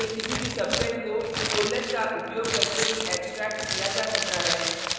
matrix के किसी भी सबसेट subset को कोलन : का उपयोग करके भी एक्सट्रैक्ट किया जा सकता है